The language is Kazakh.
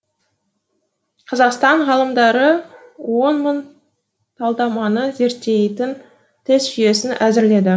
қазақстан ғалымдары он мың талдаманы зерттейтін тест жүйесін әзірледі